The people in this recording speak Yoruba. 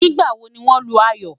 nígbà wò ní wón Lu ayọ?